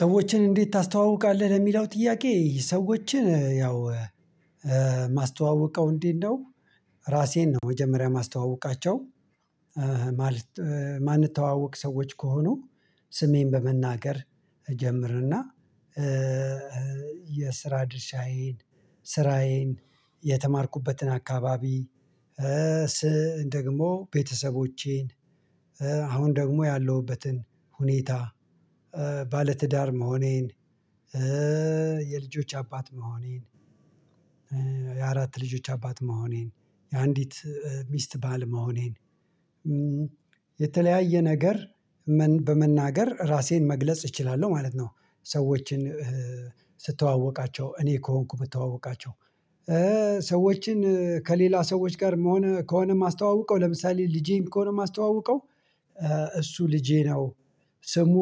ሰዎችን እንዴት ታስተዋውቃለህ? ለሚለው ጥያቄ ሰዎችን ያው ማስተዋወቀው እንዴት ነው ራሴን ነው መጀመሪያ ማስተዋወቃቸው እህ ማለት ማንተዋወቅ ሰዎች ከሆኑ ስሜን በመናገር እጀምርና የስራ ድርሻዬን፣ ስራዬን፣ የተማርኩበትን አካባቢ፣ ደግሞ ቤተሰቦቼን አሁን ደግሞ ያለሁበትን ሁኔታ። ባለትዳር መሆኔን፣ የልጆች አባት መሆኔን፣ የአራት ልጆች አባት መሆኔን፣ የአንዲት እህት ሚስት ባል መሆኔን የተለያየ ነገር በመናገር ራሴን መግለጽ እችላለሁ ማለት ነው። ሰዎችን ስተዋወቃቸው እኔ ከሆንኩ የምታወቃቸው። ሰዎችን ከሌላ ሰዎች ጋር ከሆነ ከሆነ የማስተዋውቀው ለምሳሌ ልጄን ከሆነ የማስተዋውቀው እሱ ልጄ ነው። ስሙ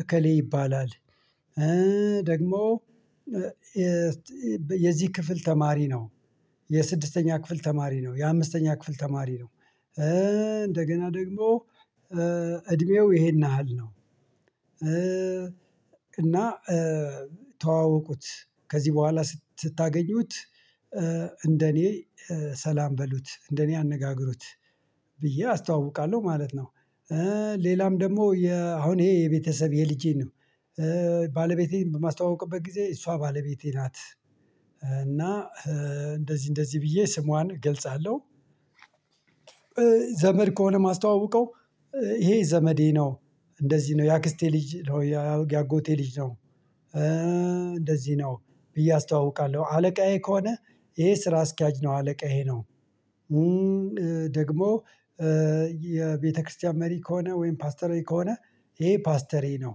እከሌ ይባላል ደግሞ የዚህ ክፍል ተማሪ ነው፣ የስድስተኛ ክፍል ተማሪ ነው፣ የአምስተኛ ክፍል ተማሪ ነው እንደገና ደግሞ እድሜው ይሄን ያህል ነው። እና ተዋወቁት ከዚህ በኋላ ስታገኙት እንደኔ ሰላም በሉት፣ እንደኔ አነጋግሩት ብዬ አስተዋውቃለሁ ማለት ነው። ሌላም ደግሞ አሁን ይሄ የቤተሰብ የልጄን ነው። ባለቤቴን በማስተዋውቀበት ጊዜ እሷ ባለቤቴ ናት፣ እና እንደዚህ እንደዚህ ብዬ ስሟን ገልጻለሁ ዘመድ ከሆነ ማስተዋወቀው፣ ይሄ ዘመዴ ነው፣ እንደዚህ ነው የአክስቴ ልጅ ነው፣ የአጎቴ ልጅ ነው፣ እንደዚህ ነው ብዬ አስተዋውቃለሁ፣ አለቃዬ ከሆነ ይሄ ስራ አስኪያጅ ነው አለቃዬ ይሄ ነው ደግሞ የቤተክርስቲያን መሪ ከሆነ ወይም ፓስተሬ ከሆነ ይሄ ፓስተሬ ነው።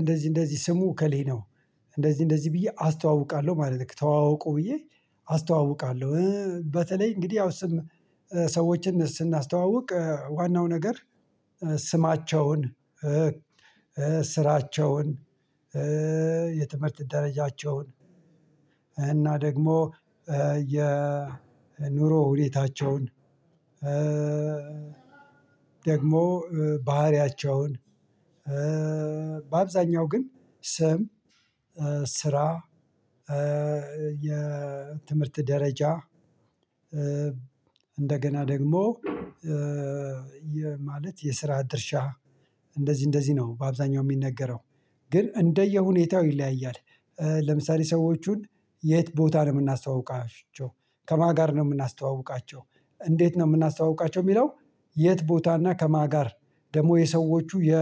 እንደዚህ እንደዚህ ስሙ ከሌ ነው፣ እንደዚህ እንደዚህ ብዬ አስተዋውቃለሁ ማለት ነው። ተዋወቁ ብዬ አስተዋውቃለሁ። በተለይ እንግዲህ ያው ስም ሰዎችን ስናስተዋውቅ ዋናው ነገር ስማቸውን ስራቸውን፣ የትምህርት ደረጃቸውን፣ እና ደግሞ የኑሮ ሁኔታቸውን፣ ደግሞ ባህሪያቸውን በአብዛኛው ግን ስም፣ ስራ፣ የትምህርት ደረጃ እንደገና ደግሞ ማለት የስራ ድርሻ፣ እንደዚህ እንደዚህ ነው በአብዛኛው የሚነገረው። ግን እንደ የሁኔታው ይለያያል። ለምሳሌ ሰዎቹን የት ቦታ ነው የምናስተዋውቃቸው፣ ከማን ጋር ነው የምናስተዋውቃቸው፣ እንዴት ነው የምናስተዋውቃቸው፣ የሚለው የት ቦታና፣ ከማን ጋር ደግሞ የሰዎቹ የ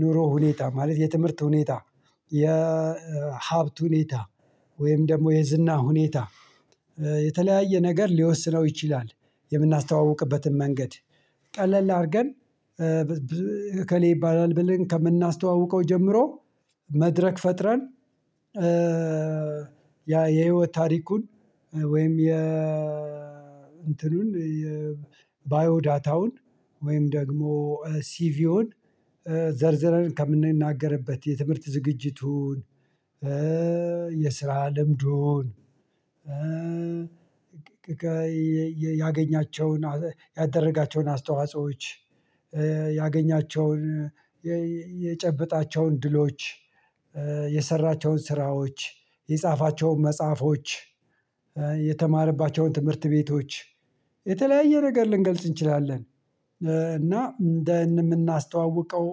ኑሮ ሁኔታ፣ ማለት የትምህርት ሁኔታ፣ የሀብት ሁኔታ፣ ወይም ደግሞ የዝና ሁኔታ፣ የተለያየ ነገር ሊወስነው ይችላል። የምናስተዋውቅበትን መንገድ ቀለል አድርገን እከሌ ይባላል ብለን ከምናስተዋውቀው ጀምሮ መድረክ ፈጥረን ያ የህይወት ታሪኩን፣ ወይም የ እንትኑን ባዮ ዳታውን፣ ወይም ደግሞ ሲቪውን ዘርዝረን ከምንናገርበት የትምህርት ዝግጅቱን፣ የስራ ልምዱን ያገኛቸውን ያደረጋቸውን አስተዋጾዎች፣ ያገኛቸውን የጨበጣቸውን ድሎች፣ የሰራቸውን ስራዎች፣ የጻፋቸውን መጽሐፎች፣ የተማርባቸውን ትምህርት ቤቶች የተለያየ ነገር ልንገልጽ እንችላለን እና እንደ የምናስተዋውቀው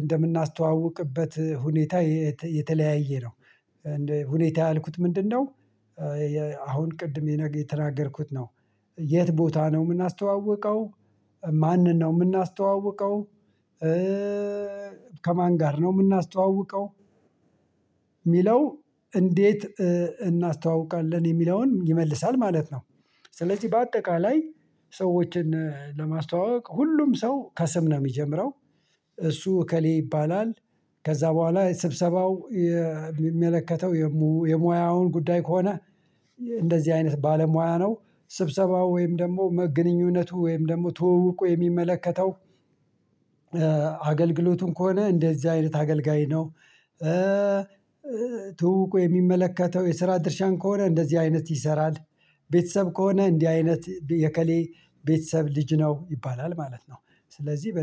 እንደምናስተዋውቅበት ሁኔታ የተለያየ ነው። ሁኔታ ያልኩት ምንድነው? አሁን ቅድም የነገ የተናገርኩት ነው የት ቦታ ነው የምናስተዋውቀው ማንን ነው የምናስተዋውቀው፣ ከማን ጋር ነው የምናስተዋውቀው፣ የሚለው እንዴት እናስተዋውቃለን የሚለውን ይመልሳል ማለት ነው። ስለዚህ በአጠቃላይ ሰዎችን ለማስተዋወቅ ሁሉም ሰው ከሰምነው የሚጀምረው እሱ እከሌ ይባላል ከዛ በኋላ ስብሰባው የሚመለከተው የሙያውን ጉዳይ ከሆነ እንደዚህ አይነት ባለሙያ ነው። ስብሰባው ወይም ደግሞ ግንኙነቱ ወይም ደግሞ ትወውቁ የሚመለከተው አገልግሎቱም ከሆነ እንደዚህ አይነት አገልጋይ ነው። ትውውቁ የሚመለከተው የስራ ድርሻን ከሆነ እንደዚህ አይነት ይሰራል። ቤተሰብ ከሆነ እንዲህ አይነት የከሌ ቤተሰብ ልጅ ነው ይባላል ማለት ነው። ስለዚህ በ